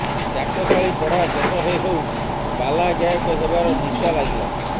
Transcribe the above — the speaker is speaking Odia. ଚାଟଶାଳୀ ପଢା ଶେଷ ହେଉହେଉ ପାଲା ଗାୟକ ହେବାର ନିଶା ଲାଗିଲା